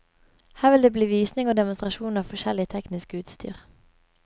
Her vil det bli visning og demonstrasjon av forskjellig teknisk utstyr.